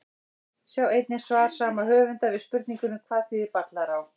Sjá einnig svar saman höfundar við spurningunni Hvað þýðir Ballará?